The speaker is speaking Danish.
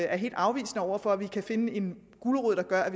er helt afvisende over for at vi kan finde en gulerod der gør at